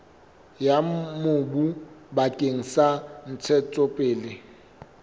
ya mobu bakeng sa ntshetsopele